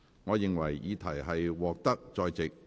我宣布議案獲得通過。